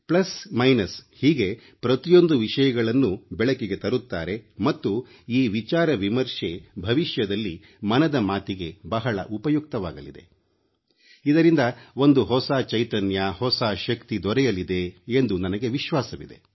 ಸಾಧಕಬಾಧಕ ಹೀಗೆ ಪ್ರತಿಯೊಂದು ವಿಷಯಗಳನ್ನೂ ಬೆಳಕಿಗೆ ತರುತ್ತಾರೆ ಮತ್ತು ಈ ವಿಚಾರ ವಿಮರ್ಶೆ ಭವಿಷ್ಯದಲ್ಲಿ ಮನದ ಮಾತಿಗೆ ಬಹಳ ಉಪಯುಕ್ತವಾಗಲಿದೆ ಇದರಿಂದ ಒಂದು ಹೊಸ ಚೈತನ್ಯ ಹೊಸ ಶಕ್ತಿ ದೊರೆಯಲಿದೆ ಎಂದು ನನಗೆ ವಿಶ್ವಾಸವಿದೆ